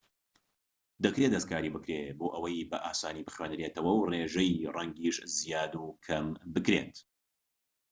دەکرێت دەستکاری بکرێت بۆ ئەوەی بە ئاسانی بخوێنرێتەوە و ڕێژەی ڕەنگیش زیاد و کەم دەکرێت